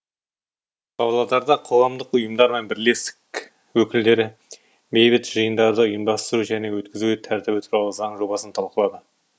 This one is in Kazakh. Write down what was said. павлодарда қоғамдық ұйымдар мен бірлестік өкілдері бейбіт жиындарды ұйымдастыру және өткізу тәртібі туралы заң жобасын талқылады